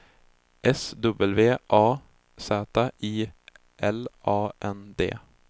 S W A Z I L A N D